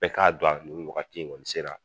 Bɛɛ k'a dɔn nin wakati in kɔni sera.